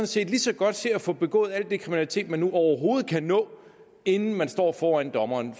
set lige så godt se at få begået al den kriminalitet man nu overhovedet kan nå inden man står foran dommeren